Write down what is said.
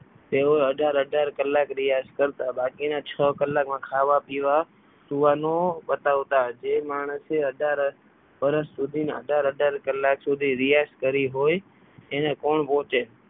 તેઓ અઢાર અઢાર કલાક રિયાસતમાં બાકીના છ કલાકમાં ખાવા પીવા સૂવાનું પતાવતા હતા જે માણસે અઢાર વર્ષ સુધી અઢાર અઢાર કલાક સુધી રિયાઝ કરી હોય એને કોણ ગોતે?